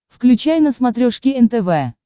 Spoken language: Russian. включай на смотрешке нтв